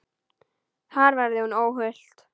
Þar verði hún óhult.